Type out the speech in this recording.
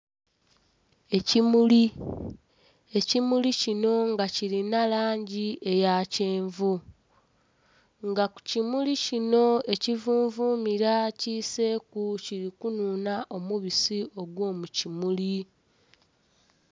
Ekimuli, ekimuli kino nga kilinha langi eya kyenvu. Nga ku kimuli kino ekivunvumila kiseeku kili kunhunha omubisi ogw'omukimuli.